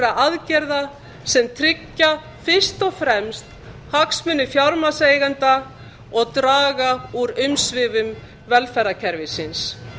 aðgerða sem tryggja fyrst og fremst hagsmuni fjármagnseigenda og draga úr umsvifum velferðarkerfisins